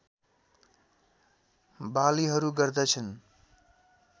बालीहरू गर्दछन्